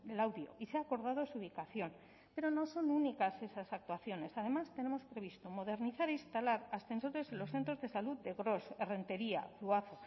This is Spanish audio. laudio y se ha acordado su ubicación pero no son únicas esas actuaciones además tenemos previsto modernizar e instalar ascensores en los centros de salud de gros errenteria zuazo